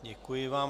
Děkuji vám.